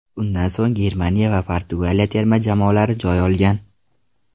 Undan so‘ng Germaniya va Portugaliya terma jamoalari joy olgan.